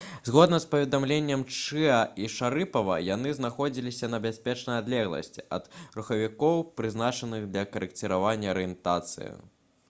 згодна з паведамленнем чыаа і шарыпава яны знаходзіліся на бяспечнай адлегласці ад рухавікоў прызначаных для карэкціравання арыентацыі